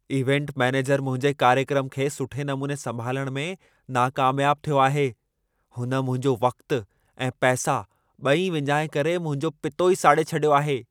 Event manager मुंहिंजे कार्यक्रम खे सुठे नमूने संभालण में नाकामयाब थियो आहे। हुन मुंहिंजो वक़्तु ऐं पैसा ॿई विञाए करे मुंहिंजो पितो ई साड़े छॾियो आहे।